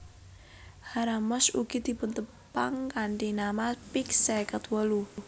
Haramosh ugi dipuntepang kanthi nama peak seket wolu